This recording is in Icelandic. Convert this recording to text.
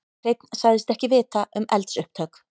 Hreinn sagðist ekki vita um eldsupptök